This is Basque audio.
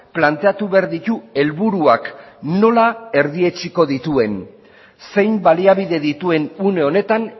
planteatu behar ditu helburuak nola erdietsiko dituen zein baliabide dituen une honetan